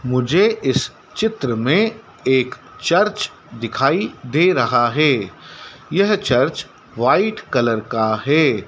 मुझे इस चित्र मे एक चर्च दिखाई दे रहा है यह चर्च व्हाइट कलर का है।